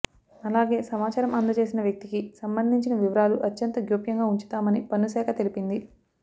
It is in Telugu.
అలాగే సమాచారం అందచేసిన వ్యక్తికి సంబంధించిన వివారలు అత్యంత గోప్యంగ ఉంచుతామని పన్ను శాఖ తెలిపింది